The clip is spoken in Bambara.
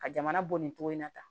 Ka jamana bɔ nin cogo in na tan